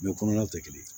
Bɛɛ kɔnɔlaw tɛ kelen ye